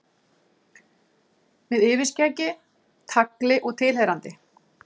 Með yfirskeggi, tagli og tilheyrandi.